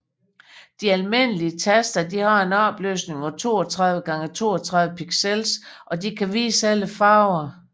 De almindelige taster har en opløsning på 32x32 pixels og kan vise alle farver